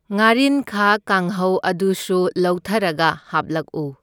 ꯉꯥꯔꯤꯟꯈꯥ ꯀꯥꯡꯍꯧ ꯑꯗꯨꯁꯨ ꯂꯧꯊꯔꯒ ꯍꯥꯞꯂꯛꯎ꯫